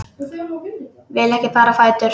Vil ekki fara á fætur.